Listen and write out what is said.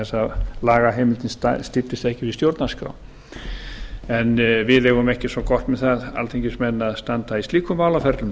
þess að lagaheimildin styddist ekki við stjórnarskrá en við eigum ekki svo gott með það alþingismenn að standa í slíkum málaferlum